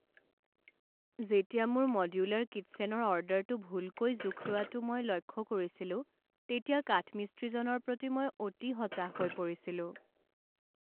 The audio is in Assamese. যেতিয়া মোৰ মড্যুলাৰ কিটছেনৰ অৰ্ডাৰটো ভুলকৈ জোখ লোৱাটো মই লক্ষ্য কৰিছিলোঁ তেতিয়া কাঠমিস্ত্ৰীজনৰ প্ৰতি মই অতি হতাশ হৈ পৰিছিলোঁ।